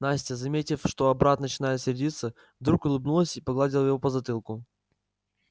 настя заметив что брат начинает сердиться вдруг улыбнулась и погладила его по затылку